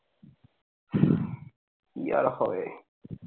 কি আর হবে